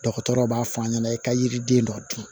Dɔgɔtɔrɔw b'a f'a ɲɛna i ka yiriden dɔ dun